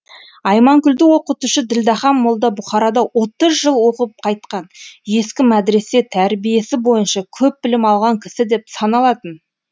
айманкүлді оқытушы ділдәхан молда бухарада отыз жыл оқып қайтқан ескі медресе тәрбиесі бойынша көп білім алған кісі деп саналатын